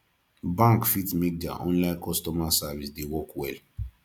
bank fit make their online customer service dey work well